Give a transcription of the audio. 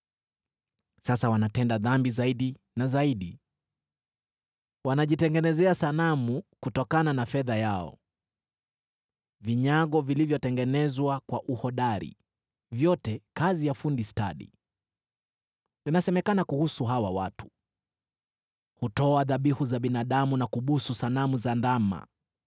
Sasa wanatenda dhambi zaidi na zaidi; wanajitengenezea sanamu kutokana na fedha yao, vinyago vilivyotengenezwa kwa uhodari, vyote kazi ya fundi stadi. Inasemekana kuhusu hawa watu, “Hutoa dhabihu za binadamu na kubusu sanamu za ndama.”